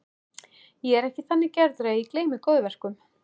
Ég er ekki þannig gerður að ég gleymi góðverkum.